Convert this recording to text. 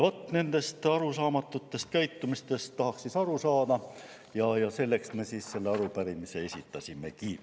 Vaat nendest arusaamatutest käitumistest tahaksime aru saada ja sellepärast me selle arupärimise esitasimegi.